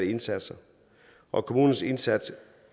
indsatser og kommunens indsats